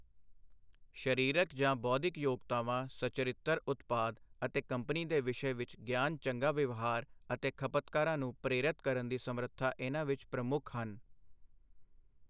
ਸਰੀਰਕ ਜਾਂ ਬੌਧਿਕ ਯੋਗਤਾਵਾਂ ਸਚੱਰਿਤਰ ਉਤਪਾਦ ਅਤੇ ਕੰਪਨੀ ਦੇ ਵਿਸ਼ੇ ਵਿੱਚ ਗਿਆਨ ਚੰਗਾ ਵਿਵਹਾਰ ਅਤੇ ਖਪਤਕਾਰਾਂ ਨੂੰ ਪ੍ਰੇਰਤ ਕਰਨ ਦੀ ਸਮਰੱਥਾ ਇਨ੍ਹਾਂ ਵਿੱਚ ਪ੍ਰਮੁੱਖ ਹਨ।